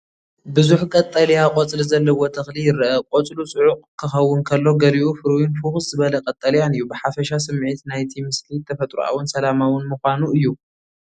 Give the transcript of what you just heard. ብዙሕ ቀጠልያ ቆጽሊ ዘለዎ ተኽሊ ይረአ። ቆጽሉ ጽዑቕ ክኸውን ከሎ ገሊኡ ፍሩይን ፍኹስ ዝበለ ቀጠልያን እዩ፡፡ ብሓፈሻ ስሚዒት ናይቲ ምስሊ ተፈጥሮኣውን ሰላማውን ምዃኑ እዩ።